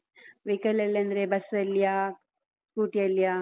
Vehicle ಲಲ್ಲಿ ಅಂದ್ರೆ ಬಸ್ಸಲ್ಲಿಯಾ? scooty ಯಲ್ಲಿಯಾ?